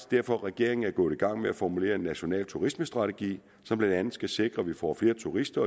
derfor regeringen er gået i gang med at formulere en national turismestrategi som blandt andet skal sikre at vi får flere turister